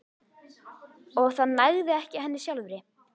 Og það nægði ekki henni sjálfri.